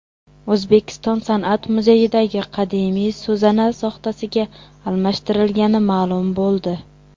O‘zbekiston san’at muzeyidagi qadimiy so‘zana soxtasiga almashtirilgani ma’lum bo‘ldi .